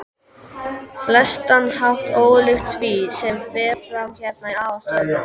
flestan hátt ólíkt því, sem fer fram hérna í aðalstöðvunum.